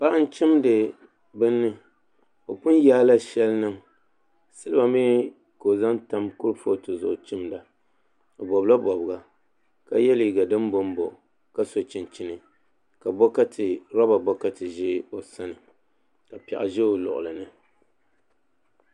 Paɣa n chimdi bini o pun. yaala shɛli niŋ silba mii ka o zaŋ tam kuripooti zuɣu chimda o bobla bobga ka yɛ liiga din bombom ka so chunchini ka roba bokati ʒɛ o sani ka piɛɣu ʒɛ o luɣuli